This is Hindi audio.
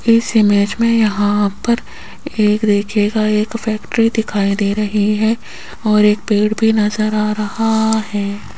इस इमेज में यहां पर एक देखियेगा एक फैक्ट्री दिखाई दे रही है और एक पेड़ भी नजर आ रहा है।